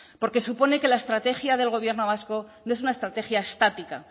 porque supone que la estrategia del gobierno vasco no es una estrategia estática